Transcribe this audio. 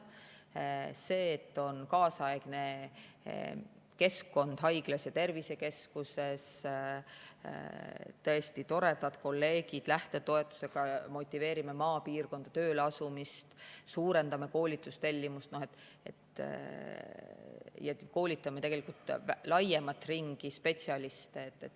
see, et on kaasaegne keskkond haiglas ja tervisekeskuses, tõesti toredad kolleegid, me lähtetoetusega motiveerime maapiirkonda tööle asumist, suurendame ka koolitustellimust ja koolitame tegelikult laiemat ringi spetsialiste.